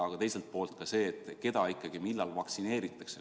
Ja teiselt poolt huvitab mind ka see, keda millal vaktsineeritakse.